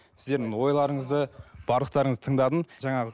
сіздердің ойларыңызды барлықтарыңызды тыңдадым жаңағы